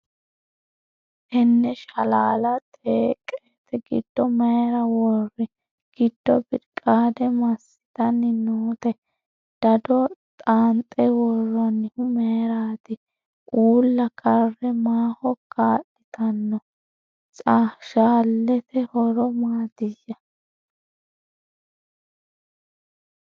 Tenne shalaala xeeqette giddo mayiira wori ? Giddo biriqaade masittanni nootte ? Dado xaanxxe woroonnihu mayiiratti ? Uulla care maaho kaa'littanno ? Shalaatte horo maattiya ?